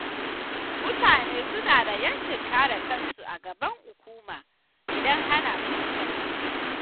Mutane suna da 'yancin kare kansu a gaban hukuma, idan ana tuhumarsu.